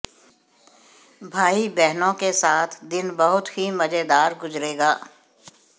भाई बहनों के साथ दिन बहुत ही मजेदार गुजरेगा